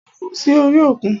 Ó kú sí orí òkun.